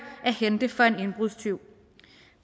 at hente dér for en indbrudstyv